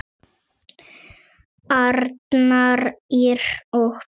Arnar, Ýr og börn.